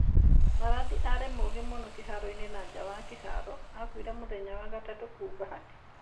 Maradi arĩ mũgĩ mũno kĩharo-inĩ na nja wa kĩharo, aakuire mũthenya wa gatatu, kũu Bahati.